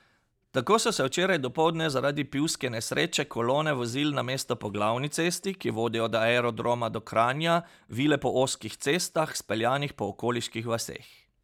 Tako so se včeraj dopoldne zaradi pivske nesreče kolone vozil namesto po glavni cesti, ki vodi od aerodroma do Kranja, vile po ozkih cestah, speljanih po okoliških vaseh.